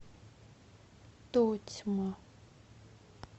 тотьма